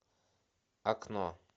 окно